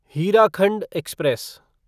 Hirakhand express